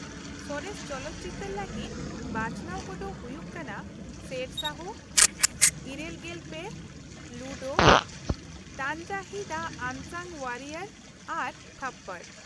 ᱥᱚᱨᱮᱥ ᱪᱚᱞᱚᱛ ᱪᱤᱛᱟᱹᱨ ᱞᱟ.ᱜᱤᱫ ᱵᱟᱪᱷᱱᱟᱣ ᱠᱚᱫᱚ ᱦᱩᱭᱩᱜ ᱠᱟᱱᱟ ᱥᱮᱨᱥᱟᱦᱚ,᱘᱓, ᱞᱩᱰᱳ, ᱛᱟᱱᱦᱟᱡᱤ-ᱫᱟ ᱟᱱᱥᱟᱝ ᱳᱣᱟᱨᱤᱭᱳᱨ, ᱟᱨ ᱛᱷᱚᱯᱯᱚᱲ ᱾